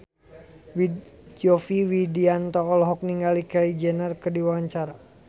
Yovie Widianto olohok ningali Kylie Jenner keur diwawancara